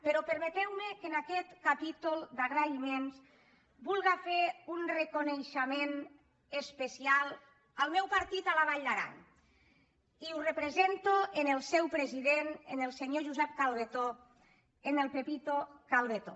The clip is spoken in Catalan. però permeteu·me que en aquest capítol d’agraïments vulga fer un reconeixement especial al meu partit a la vall d’aran i ho represento en el seu president en el senyor josep calbetó en el pepito calbetó